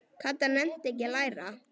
Kata nennti ekki að læra.